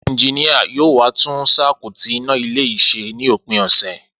Enjiníà yóò wá tún sakúùtì iná ilé yìí se ní òpin òsè